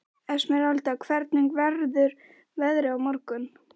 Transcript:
Esmeralda, hvernig verður veðrið á morgun?